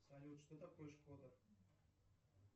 салют что такое шкода